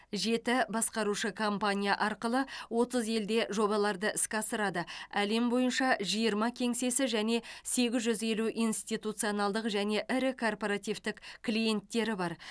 жеті басқарушы компания арқылы отыз елде жобаларды іске асырады әлем бойынша жиырма кеңсесі және сегіз жүз елу институционалдық және ірі корпоративтік клиенттері бар